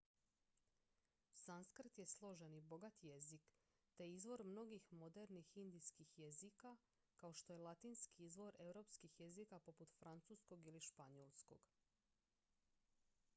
sanskrt je složen i bogat jezik te izvor mnogih modernih indijskih jezika kao što je latinski izvor europskih jezika poput francuskog ili španjolskog